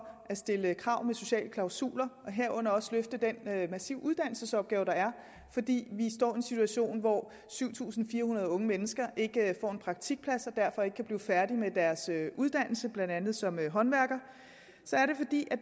at stille krav med sociale klausuler og herunder også løfte den massive uddannelsesopgave der er fordi vi står i en situation hvor syv tusind fire hundrede unge mennesker ikke får en praktikplads og derfor ikke kan blive færdige med deres uddannelse blandt andet som håndværker så er det fordi det